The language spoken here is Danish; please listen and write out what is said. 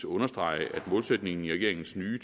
understrege at målsætningen i regeringens nye